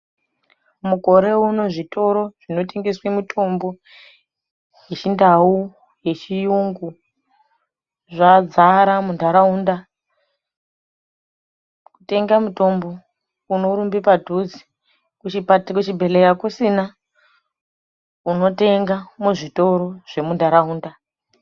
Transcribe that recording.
Mukore uno zvitoro zvinotengeswe mitombo yeChiNdau, yeChiyungu zvadzara muntaraunda. Kutenga mitombo, unorumbe padhuze, kuchibhedhleya kusina ,unotenga muzvitoro zvemuntaraunda.